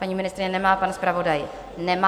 Paní ministryně nemá, pan zpravodaj nemá.